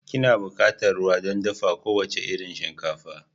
Kina buƙatar ruwa don dafa kowace irin shinkafa.